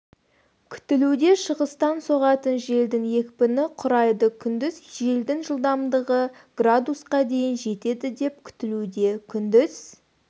күтілуде шығыстан соғатын желдің екпіні құрайды күндіз желдің жылдамдығы с-қа дейін жетеді деп күтілуде күндіз